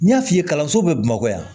N y'a f'i ye kalanso bɛ bamakɔ yan